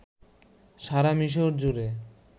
সারা মিশর জুড়ে